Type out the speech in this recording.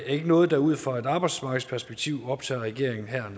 ikke noget der ud fra et arbejdsmarkedsperspektiv optager regeringen her